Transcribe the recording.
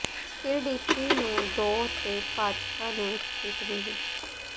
PDP ਨੂੰ ਦੋ ਤੇ ਭਾਜਪਾ ਨੂੰ ਇਕ ਸੀਟ ਮਿਲੀ